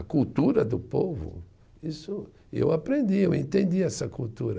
A cultura do povo, isso e eu aprendi, eu entendi essa cultura.